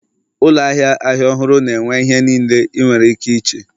Ụlọ ahịa ahịa ọhụrụ na-ere ihe niile ị nwere ike iche